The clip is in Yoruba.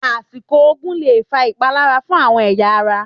Àsìlò oògùn lè fa ìpalára fún àwon èyà ara.